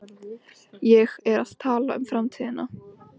Ég er að tala um framtíðina.